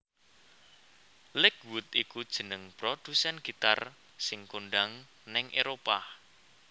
Lakewood iku jeneng produsèn gitar sing kondhang nèng Éropah